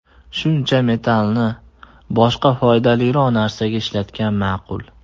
Shuncha metallni boshqa foydaliroq narsaga ishlatgan ma’qul.